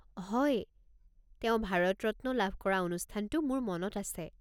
হয়, তেওঁ ভাৰত ৰত্ন লাভ কৰা অনুষ্ঠানটো মোৰ মনত আছে।